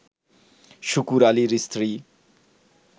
শুকুর আলীর স্ত্রী